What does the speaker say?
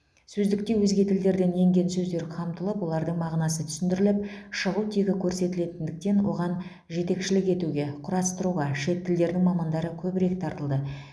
сөздікте өзге тілдерден енген сөздер қамтылып олардың мағынасы түсіндіріліп шығу тегі көрсетілетіндіктен оған жетекшілік етуге құрастыруға шет тілдерінің мамандары көбірек тартылды